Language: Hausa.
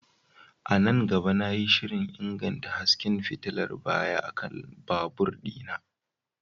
A nan gaba, na yi shirin inganta hasken fitilar baya akan babur ɗina.